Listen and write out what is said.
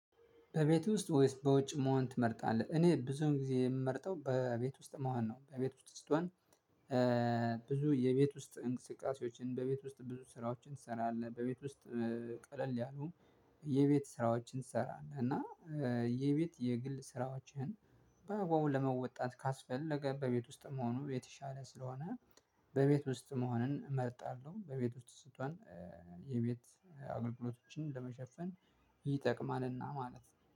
በቤት ውስጥ ወይስ በውጭ መሆን ትመርጣለህ? እኔ ብዙን ጊዜ የምመርጠው በቤት ውስጥ መሆን ነው። በቤት ውስጥ ስትሆን ብዙ የቤት ውስጥ እንቅስቃሴዎችን በቤት ውስጥ ብዙ ስራዎችን ትሰራለህ በቤት ውስጥ ቀለል ያሉ የቤት ስራዎችን ትሰራለህ እና የቤት የግል ስራዎችን በአግባቡ ለመወጣት ካስፈለገ በቤት ውስጥ መሆኑ የተሻለ ስለሆነ። በቤት ውስጥ መሆንን እመርጣለሁ። በቤት ውስጥ ስትሆን የቤት አገልግሎቶችን ለመሸፈን ይጠቅማል እና ማለት ነው